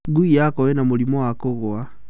Ngui yakwa ĩna mũrimũ wa kũgwa.